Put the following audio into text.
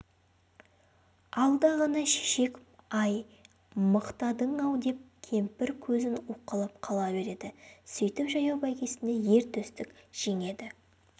алда ғана шешек-ай мықтадың-ау деп кемпір көзін уқалап қала береді сөйтіп жаяу бәйгесінде ер төстік жеңеді